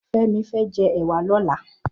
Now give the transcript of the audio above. Femi fè jè èwà lòlà